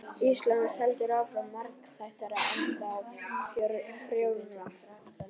Íslands heldur áfram, margþættara, ennþá frjórra.